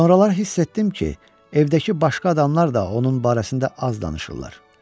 Sonralar hiss etdim ki, evdəki başqa adamlar da onun barəsində az danışırlar.